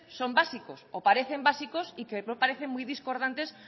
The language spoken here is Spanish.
son básicos o parecen básicos y que no parecen muy discordantes